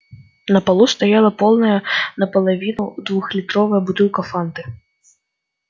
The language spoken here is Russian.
на полу стояла полная наполовину двухлитровая бутылка фанты